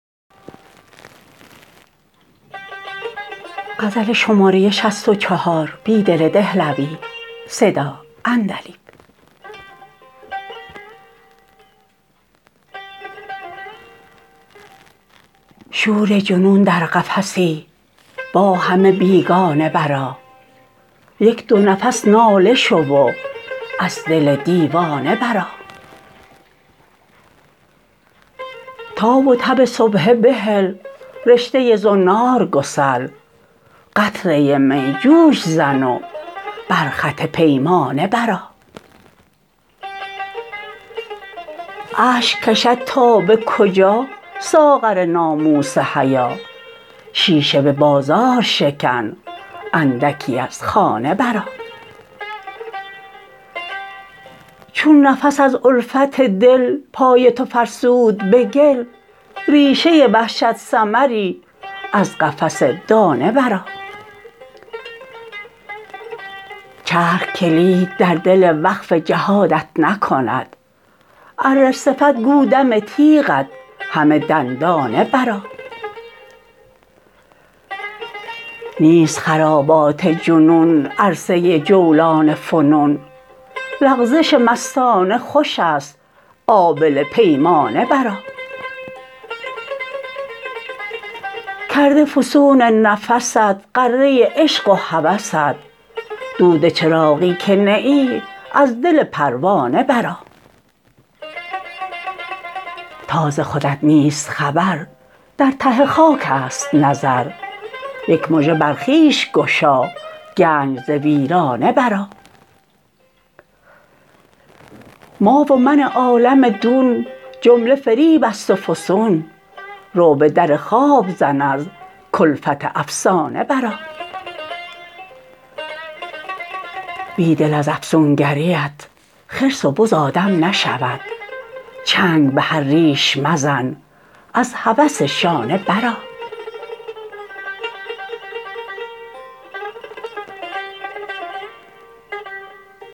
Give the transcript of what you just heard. شور جنون در قفسی با همه بیگانه برآ یک دو نفس ناله شو و از دل دیوانه برآ تاب و تب سبحه بهل رشته زنار گسل قطره می جوش زن و برخط پیمانه برآ اشک کشد تا به کجا ساغر ناموس حیا شیشه به بازار شکن اندکی از خانه برآ چون نفس از الفت دل پای تو فرسود به گل ریشه وحشت ثمری از قفس دانه برآ چرخ کلید در دل وقف جهادت نکند اره صفت گو دم تیغت همه دندانه برآ نیست خرابات جنون عرصه جولان فنون لغزش مستانه خوش است آبله پیمانه برآ کرده فسون نفست غره عشق وهوست دود چراغی که نه ای از دل پروانه برآ تا ز خودت نیست خبر درته خاکست نظر یک مژه برخویش گشاگنج زویرانه برآ ما ومن عالم دون جمله فریب است وفسون رو به در خواب زن ازکلفت افسانه برآ بیدل ازافسونگری ات خرس وبز آدم نشود چنگ به هرریش مزن ازهوس شانه برآ